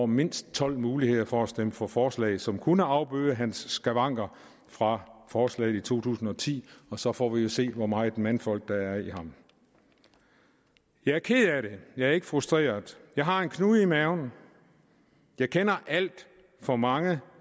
mindst tolv muligheder for at stemme for forslaget som kunne afbøde hans skavanker fra forslaget i to tusind og ti og så får vi jo at se hvor meget mandfolk der er i ham jeg er ked af det jeg er ikke frustreret jeg har en knude i maven jeg kender alt for mange